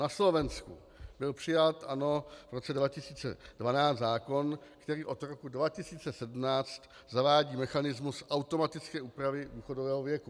Na Slovensku byl přijat, ano, v roce 2012 zákon, který od roku 2017 zavádí mechanismus automatické úpravy důchodového věku.